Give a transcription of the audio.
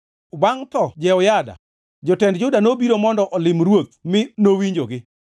Bangʼ tho Jehoyada, jotend jo-Juda nobiro mondo olim ruoth mi nowinjogi.